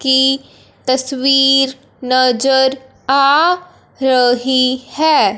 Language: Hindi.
की तस्वीर नजर आ रही है।